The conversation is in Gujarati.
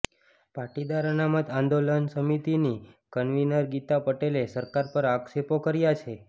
પાટીદાર અનામત આંદોલન સમિતિની કન્વીનર ગીતા પટેલે સરકાર પર આક્ષેપો કર્યા છે